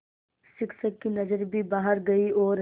शिक्षक की नज़र भी बाहर गई और